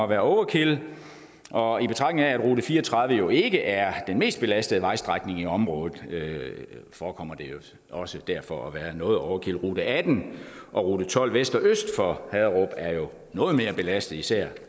være overkill og i betragtning af at rute fire og tredive jo ikke er den mest belastede vejstrækning i området forekommer det også derfor at være noget overkill rute atten og rute tolv vest og øst for haderup er jo noget mere belastet især